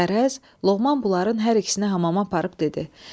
Qərəz, Loğman bunların hər ikisini hamama aparıb dedi: